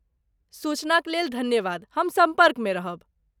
सूचनाक लेल धन्यवाद। हम सम्पर्कमे रहब।